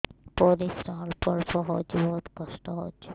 ପରିଶ୍ରା ଅଳ୍ପ ଅଳ୍ପ ହଉଚି ବହୁତ କଷ୍ଟ ହଉଚି